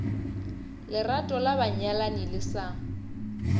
lerato la banyalani le sa